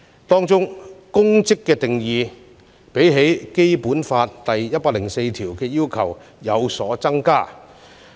當中"公職"的定義，較《基本法》第一百零四條的要求有所增加。